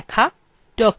document ছাপা